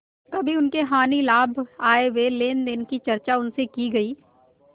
कभी उसके हानिलाभ आयव्यय लेनदेन की चर्चा उनसे की गयी